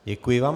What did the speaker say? Děkuji vám.